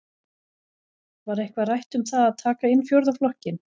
Var eitthvað rætt um það að taka inn fjórða flokkinn?